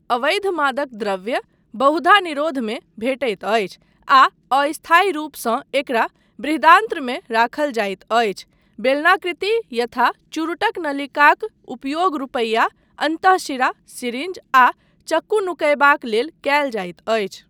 अवैध मादक द्रव्य बहुधा निरोधमे भेटैत अछि आ अस्थायी रूपसँ एकरा बृहदान्त्रमे राखल जाइत अछि, बेलनाकृति यथा चुरुटक नलिकाक उपयोग रुपैया, अन्तःशिरा सीरिंज आ चक्कू नुकयबाक लेल कयल जाइत अछि।